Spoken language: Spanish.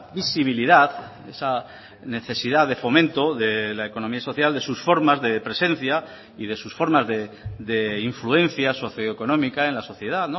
visibilidad esa necesidad de fomento de la economía social de sus formas de presencia y de sus formas de influencia socio económica en la sociedad